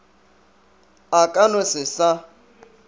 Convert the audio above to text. a ka no se sa